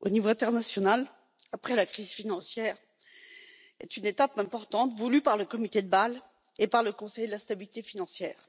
au niveau international après la crise financière est une étape importante voulue par le comité de Bâle et par le Conseil de la stabilité financière.